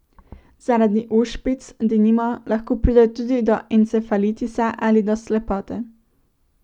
Zaradi ošpic, denimo, lahko pride tudi do encefalitisa ali do slepote.